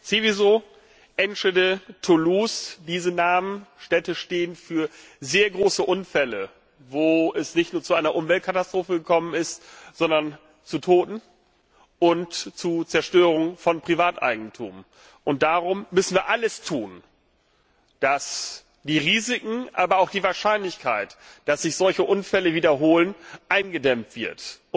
Seveso, Enschede, Toulouse, diese Städte stehen für sehr große Unfälle, bei denen es nicht nur zu einer Umweltkatastrophe gekommen ist, sondern zu Toten und zu Zerstörung von Privateigentum. Darum müssen wir alles tun, dass die Risiken, aber auch die Wahrscheinlichkeit, dass sich solche Unfälle wiederholen, eingedämmt werden.